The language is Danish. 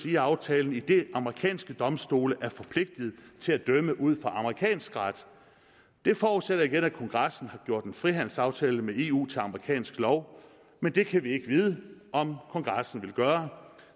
i aftalen idet amerikanske domstole er forpligtet til at dømme ud fra amerikansk ret det forudsætter igen at kongressen har gjort en frihandelsaftale med eu til amerikansk lov men det kan vi ikke vide om kongressen vil gøre